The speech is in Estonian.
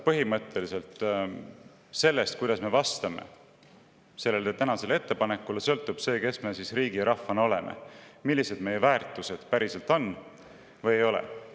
Sellest, kuidas me vastame täna sellele ettepanekule, sõltub see, kes me riigi ja rahvana oleme, millised meie väärtused päriselt on ja millised nad ei ole.